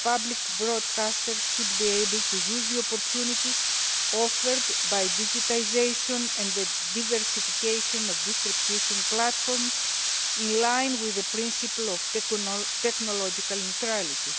that public broadcasters should be able to use the opportunities offered by digitisation and the diversification of distribution platforms, in line with the principle of technological neutrality.